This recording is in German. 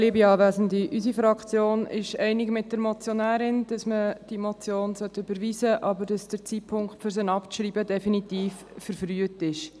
Unsere Fraktion geht mit der Motionärin einig, dass man diese Motion überweisen sollte, aber dass der Zeitpunkt, um sie abzuschreiben, definitiv verfrüht ist.